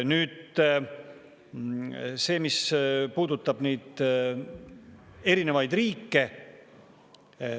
Nüüd see, mis puudutab neid erinevaid riike.